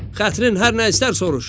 Xətrin hər nə istər soruş.